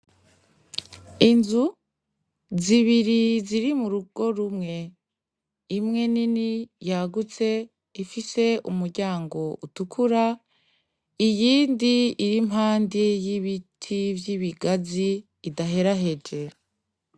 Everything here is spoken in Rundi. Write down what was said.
Inzu zibiri ziri mu rugo rumwe, imwe nini yagutse ifise umuryango utukura, iyindi iri impande y'ibiti vy'ibigazi idaheraheje.